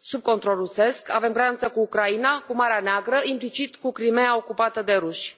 sub control rusesc, avem graniță cu Ucraina, cu Marea Neagră, implicit cu Crimeea ocupată de ruși.